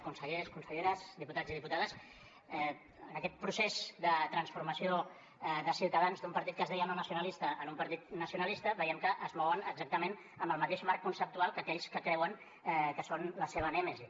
consellers conselleres diputats i diputades en aquest procés de transformació de ciutadans d’un partit que es deia no nacionalista en un partit nacionalista veiem que es mouen exactament amb el mateix marc conceptual que aquells que creuen que són la seva nèmesi